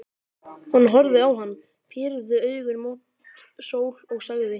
Hún horfði á hann, pírði augun mót sól og sagði: